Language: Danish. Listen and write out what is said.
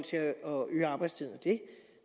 øge arbejdstiden